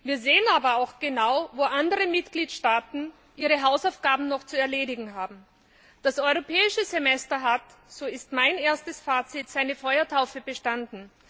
Wir sehen aber auch genau, wo andere Mitgliedstaaten ihre Hausaufgaben noch zu erledigen haben. Das Europäische Semester hat so ist mein erstes Fazit seine Feuertaufe bestanden.